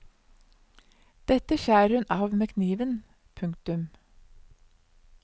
Dette skjærer hun av med kniven. punktum